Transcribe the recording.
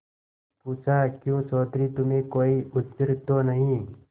पूछाक्यों चौधरी तुम्हें कोई उज्र तो नहीं